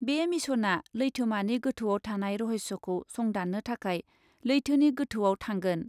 बे मिशनआ लैथोमानि गोथौआव थानाय रहस्यखौ संदान्नो थाखाय लैथोनि गोथौआव थांगोन ।